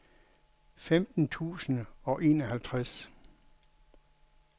femten tusind og enoghalvtreds